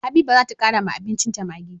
Habiba zata kara wa abincin ta maggi